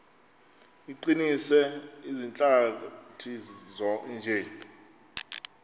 iqinise izihlathi nje